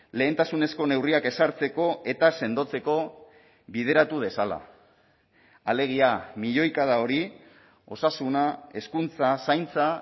lehentasunezko neurriak ezartzeko eta sendotzeko bideratu dezala alegia milioikada hori osasuna hezkuntza zaintza